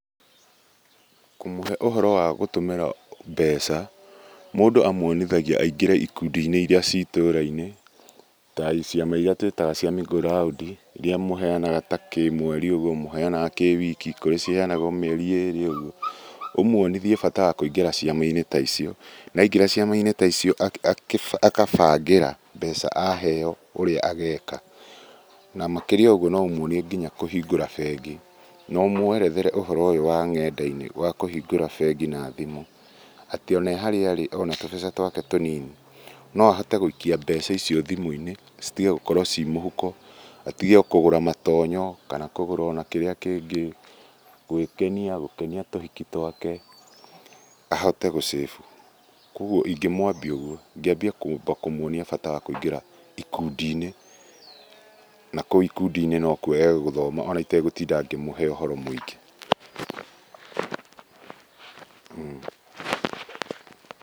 Kũmũhe ũhoro wagũtũmĩra mbeca, mũndũ a mwonaga aingĩre ikundi-inĩ iria ci itũũra-inĩ ta ciama irĩa tũĩtaga cia mĩngũ raũndi, irĩa mũheanaga ta kĩmweri ũguo, mũheanaga kĩwiki , kũrĩ ciheanagwo mĩeri ĩrĩ ũguo, ũmwonithie bata wa kũingĩra ciama-inĩ ta icio. Na aingĩra ciama-inĩ ta icio, agabangĩra mbeca aheo ũrĩa ageka. Namakĩria moguo no ũmwonithia nginya kũhingũra bengi, no ũmwerethere ũhoro ũyũ wa ng'enda-inĩ wa kũhingũra bengi na thimũ. Atĩ one harĩa arĩ ona tũbeca twake tũnini, no ahote gũikia mbeca icio thimũ-inĩ citige gũkorwo ci mũhuko, atige kũgũra matonyo kana kũgũra ona kĩrĩa kĩngĩ, gwĩkenia, gũkenia tũhiki twake, ahote gũ- save. Kogwo ingĩmwambia ũguo. Ingĩambia kwamba kũmwonia bata wakũingĩra ikundi-inĩ. Nakũu ikundi no kwo egũthoma ona itegũtinda ngĩmũhe ũhoro mũingĩ.